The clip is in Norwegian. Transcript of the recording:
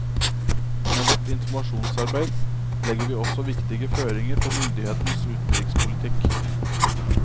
Med vårt informasjonsarbeid legger vi også viktige føringer på myndighetens utenrikspolitikk.